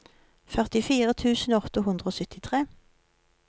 førtifire tusen åtte hundre og syttitre